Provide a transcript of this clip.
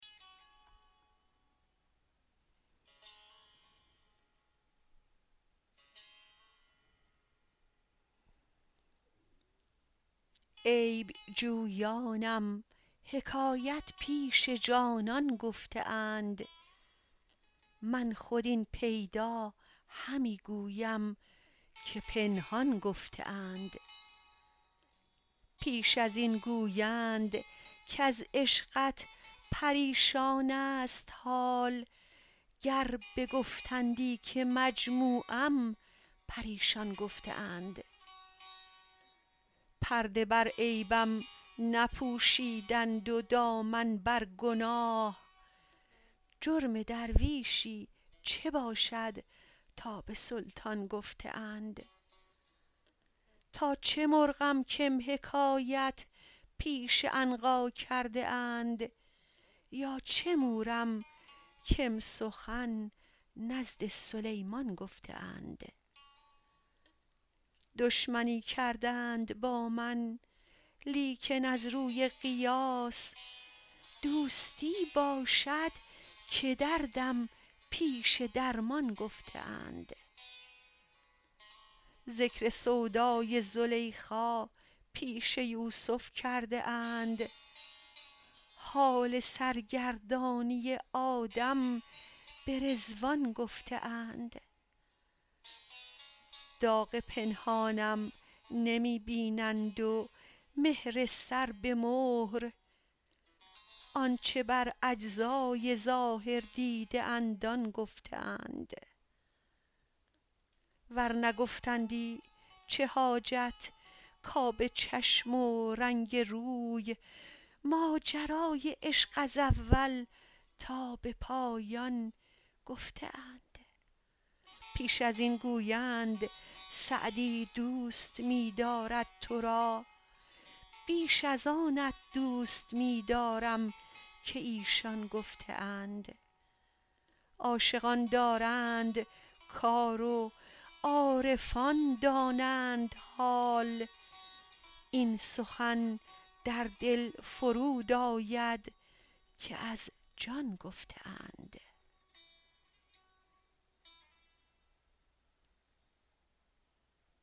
عیب جویانم حکایت پیش جانان گفته اند من خود این پیدا همی گویم که پنهان گفته اند پیش از این گویند کز عشقت پریشان ست حال گر بگفتندی که مجموعم پریشان گفته اند پرده بر عیبم نپوشیدند و دامن بر گناه جرم درویشی چه باشد تا به سلطان گفته اند تا چه مرغم کم حکایت پیش عنقا کرده اند یا چه مورم کم سخن نزد سلیمان گفته اند دشمنی کردند با من لیکن از روی قیاس دوستی باشد که دردم پیش درمان گفته اند ذکر سودای زلیخا پیش یوسف کرده اند حال سرگردانی آدم به رضوان گفته اند داغ پنهانم نمی بینند و مهر سر به مهر آن چه بر اجزای ظاهر دیده اند آن گفته اند ور نگفتندی چه حاجت کآب چشم و رنگ روی ماجرای عشق از اول تا به پایان گفته اند پیش از این گویند سعدی دوست می دارد تو را بیش از آنت دوست می دارم که ایشان گفته اند عاشقان دارند کار و عارفان دانند حال این سخن در دل فرود آید که از جان گفته اند